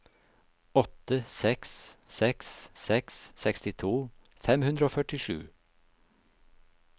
åtte seks seks seks sekstito fem hundre og førtisju